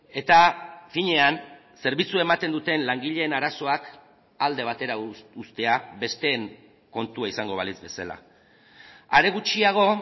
eta finean zerbitzua ematen duten langileen arazoak alde batera uztea besteen kontua izango balitz bezala are gutxiago